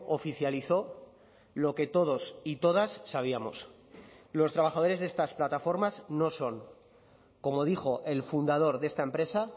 oficializó lo que todos y todas sabíamos los trabajadores de estas plataformas no son como dijo el fundador de esta empresa